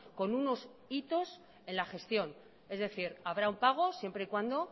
con unos hitos en la gestión es decir habrá un pago siempre y cuando